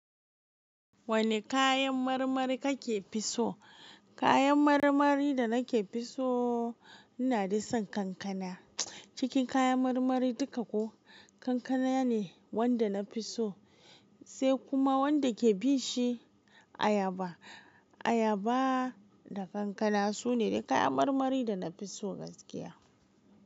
Wane kayan marmari kake fi so? Kayan marmari da nake fi sooo, inadai son kankana. Cikin kayan marmari duka ko, kankana ne wanda na fi so, sai kuma wanda ke bin shi ayaba. Ayaba da kankana sune dai kayan marmari da na fi so gaskiya.